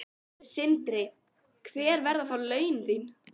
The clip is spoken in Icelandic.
Sindri: Hver verða þá laun þín?